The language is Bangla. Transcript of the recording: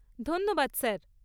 ধন্যবাদ স্যার।